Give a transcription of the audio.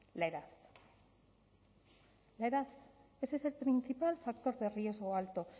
la edad la edad ese es el principal factor de riesgo alto